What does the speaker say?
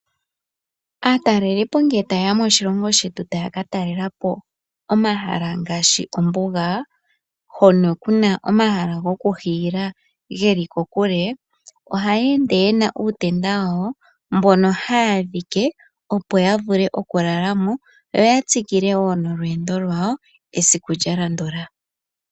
Aatalelipo ngele tayeya moshilongo shetu ta ya katalelepo omahala ngaashi ombuga hoka kuna omahala gokuhiila geli kokule, ohaya ende nuutenda wawo mboka haya dhike opo yavule okulala mo, yo yatsikile wo olweendo lwayo esiku lyalandula.